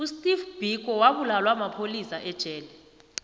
usteve biko wabulawa mapholisa ejele